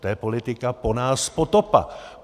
To je politika "po nás potopa".